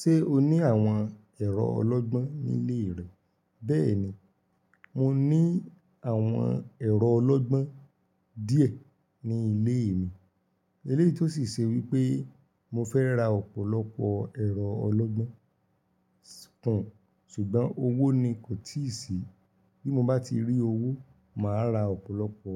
Ṣé o ní àwọn ẹ̀rọ ọlọ́gbọ́n nílé rẹ? Bẹ́ẹ̀ni, mo ní àwọn ẹ̀rọ ọlọ́gbọ́n díẹ̀ ní ilé mi. Eléyìí tó sì ṣe wípé mo fẹ́ ra ọ̀pọ̀lọpọ̀ ẹ̀rọ ọlọ́gbọ́n kún, ṣùgbọ́n owó ni kò tíì sí. Bí mo bá ti rí owó, màá ra ọ̀pọ̀lọpọ̀